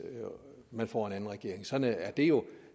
man får en anden regering sådan er det jo